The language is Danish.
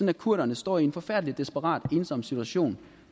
at kurderne står i en forfærdelig desperat ensom situation